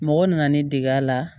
Mɔgɔ nana ne dege a la